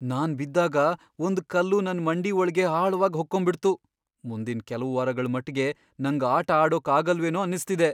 ನಾನ್ ಬಿದ್ದಾಗ ಒಂದ್ ಕಲ್ಲು ನನ್ ಮಂಡಿ ಒಳ್ಗೆ ಆಳವಾಗ್ ಹೊಕ್ಕೊಂಬಿಡ್ತು. ಮುಂದಿನ್ ಕೆಲ್ವು ವಾರಗಳ್ ಮಟ್ಗೆ ನಂಗ್ ಆಟ ಆಡೋಕ್ ಆಗಲ್ವೇನೋ ಅನ್ನಿಸ್ತಿದೆ.